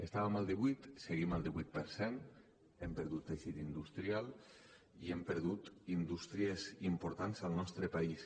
estàvem al divuit seguim al divuit per cent hem perdut teixit industrial i hem perdut indústries importants al nostre país